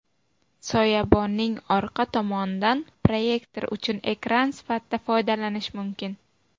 Soyabonning orqa tomonidan proyektor uchun ekran sifatida foydalanish mumkin.